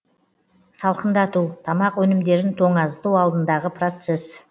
салқындату тамақ өнімдерін тоңазыту алдындағы процесс